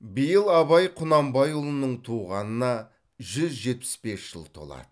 биыл абай құнанбайұлының туғанына жүз жетпіс бес жыл толады